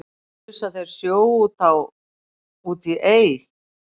ausa þeir sjó út á út í ey